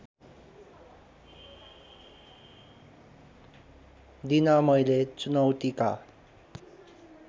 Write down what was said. दिन मैले चुनौतीका